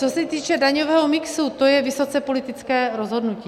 Co se týče daňového mixu, to je vysoce politické rozhodnutí.